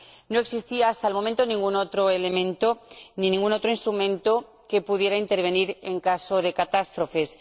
No existía, hasta ese momento, ningún otro elemento ni ningún otro instrumento que pudiera intervenir en caso de catástrofes.